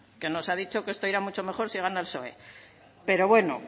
que nos ha dicho que esto irá mucho mejor si gana el psoe pero bueno